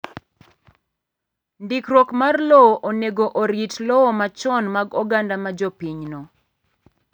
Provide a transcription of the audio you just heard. Ndikruok mar lowo onego orit lowo machon mag oganda ma jopinyno.